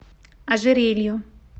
ожерелью